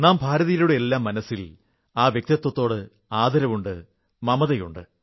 നാം ഭാരതീയരുടെയെല്ലാം മനസ്സിൽ ആ വ്യക്തിത്വത്തോട് വളരെ ആദരവുണ്ട് മമതയുണ്ട്